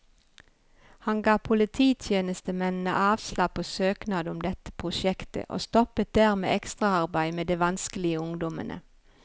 Han ga polititjenestemennene avslag på søknad om dette prosjektet, og stoppet dermed ekstraarbeidet med de vanskelige ungdommene.